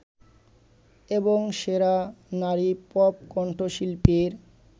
এবং সেরা নারী পপ কন্ঠশিল্পীর